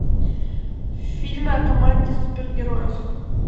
фильмы о команде супергероев